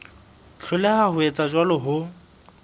hloleha ho etsa jwalo ho